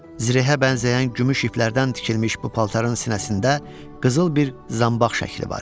Zirehə bənzəyən gümüş iplərdən tikilmiş bu paltarın sinəsində qızıl bir zanbaq şəkli var idi.